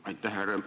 Aitäh!